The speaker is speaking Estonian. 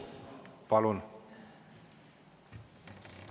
Palun!